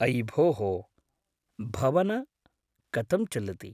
अयि भोः भवन, कथं चलति?